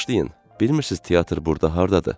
Bağışlayın, bilmirsiz teatr burda hardadır?